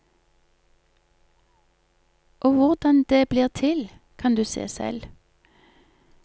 Og hvordan det blir til, kan du se selv.